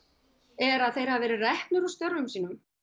er að þeir hafa verið reknir úr störfum sínum